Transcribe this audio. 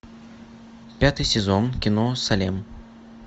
пятый сезон кино салем